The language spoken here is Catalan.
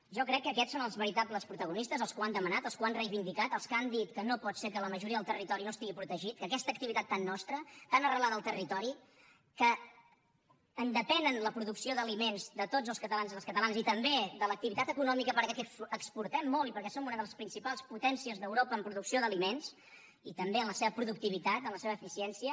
jo crec que aquests són els veritables protagonistes els que ho han demanat els que ho han reivindicat els que han dit que no pot ser que la majoria del territori no estigui protegit que aquesta activitat tan nostra tan arrelada al territori que en depenen la producció d’aliments de tots els catalans i les catalanes i també l’activitat econòmica perquè exportem molt i perquè som una de les principals potències d’europa en producció d’aliments i també en la seva productivitat en la seva eficiència